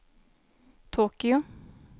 Tokyo